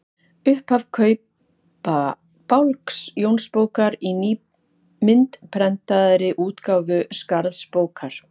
Upphaf Kaupabálks Jónsbókar í myndprentaðri útgáfu Skarðsbókar.